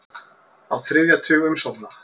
Á þriðja tug umsókna